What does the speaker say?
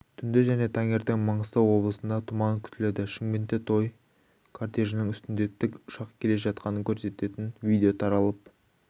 түнде және таңертең маңғыстау облысында тұман күтіледі шымкентте той кортежінің үстінде тікұшақ келе жатқанын көрсететінвидео таралып